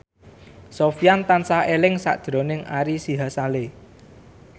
Sofyan tansah eling sakjroning Ari Sihasale